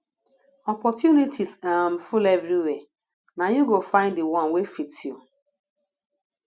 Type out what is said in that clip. opportunities um full everywhere na you go find di one wey fit you